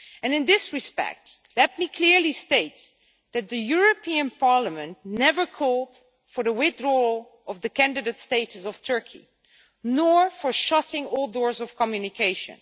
In this respect, let me clearly state that the European Parliament never called for the withdrawal of the candidate status of Turkey nor for the shutting of all doors of communication.